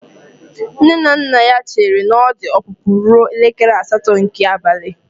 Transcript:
Nne na nna ya chere na ọdụ ọpụpụ ruo elekere asatọ nke abalị.